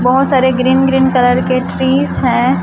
बहोत सारे green green colour के ट्रीस हैं।